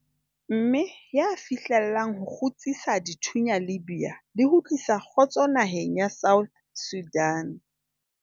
mme ya fihlellang ho kgutsisa dithunya Libya le ho tlisa kgotso naheng ya South Sudan.